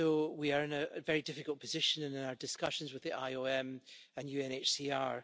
We are in a very difficult position in our discussions with the IOM and UNHCR.